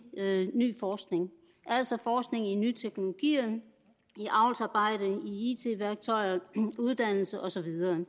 ny forskning altså forskning i nye teknologier i avlsarbejde i it værktøjer uddannelse og så videre